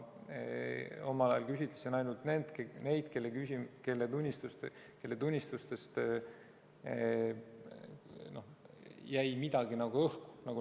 Ma küsitlesin omal ajal ainult neid, kelle tunnistustest jäi midagi nagu õhku.